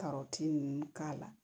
Karɔti ninnu k'a la